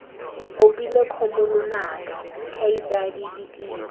opile kgomo lonaka kgaitsadi ditiro